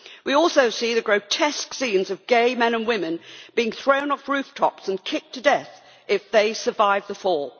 We also see the grotesque scenes of gay men and women being thrown off rooftops and kicked to death if they survive the fall.